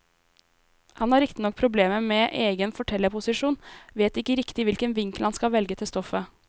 Han har riktignok problemer med egen fortellerposisjon, vet ikke riktig hvilken vinkel han skal velge til stoffet.